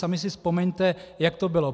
Sami si vzpomeňte, jak to bylo.